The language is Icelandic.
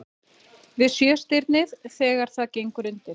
Við Sjöstirnið þegar það gengur undir.